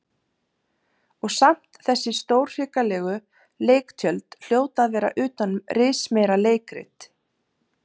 Og samt þessi stórhrikalegu leiktjöld hljóta að vera utan um rismeira leikrit.